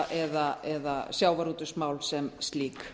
eða sjávarútvegsmál sem slík